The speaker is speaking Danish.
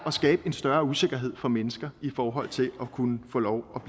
at skabe en større usikkerhed for mennesker i forhold til at kunne få lov